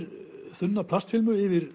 þunna plastfilmu yfir